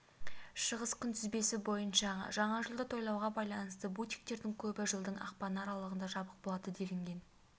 шығыс күнтізбесі бойныша жаңа жылды тойлауға байланысты бутиктердің көбі жылдың ақпаны аралығында жабық болады делінген